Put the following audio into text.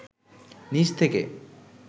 নিচ থেকে